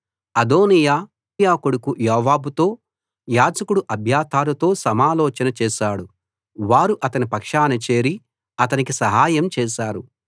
అదోనీయా సెరూయా కొడుకు యోవాబుతో యాజకుడు అబ్యాతారుతో సమాలోచన చేశాడు వారు అతని పక్షాన చేరి అతనికి సహాయం చేశారు